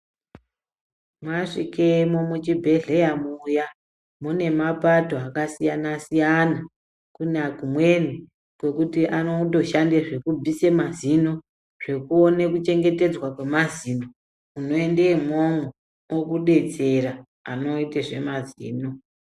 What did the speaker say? Mwasvikemwo muchibhedhleramwo muya mune mapato akasiyana siyana. Kune kumweni kunotoshande zvekubvise mazino, zvekuone kuchengetedzwa kwemazino unoende imwomwo okudetsera anoite zvemazino.